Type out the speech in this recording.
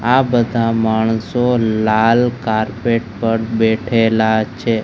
આ બધા માણસો લાલ કાર્પેટ પર બેઠેલા છે.